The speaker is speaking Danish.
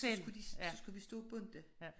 Så skulle vi stå og binde det